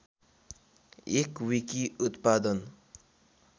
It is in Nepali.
एक विकी उत्पादन